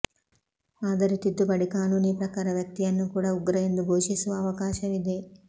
ಆದರೆ ತಿದ್ದುಪಡಿ ಕಾನೂನಿ ಪ್ರಕಾರ ವ್ಯಕ್ತಿಯನ್ನೂ ಕೂಡ ಉಗ್ರ ಎಂದು ಘೋಷಿಸುವ ಅವಾಕಾಶವಿದೆ